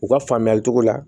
U ka faamuyali cogo la